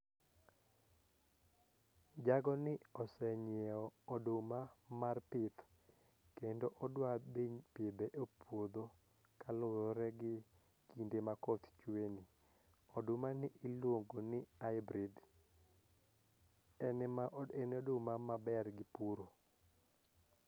Jago ni oseng'iewo oduma mar pith kendo odwa dhi pidho e puodho kaluwore gi kinde makoth chwe ni ,oduma ni iluongo ni hybrid ene ma en oduma maber gi puro.